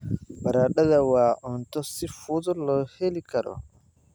Baradhada waa cunto si fudud loo heli karo.